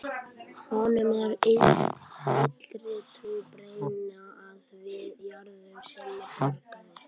Honum er allri trú brýnna að vita jörðum sínum borgið.